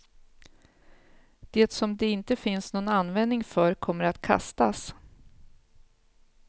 Det som det inte finns någon användning för kommer att kastas.